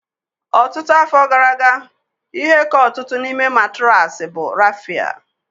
Ọtụtụ afọ gara aga, ihe ka ọtụtụ n'ime matraasi bụ raffia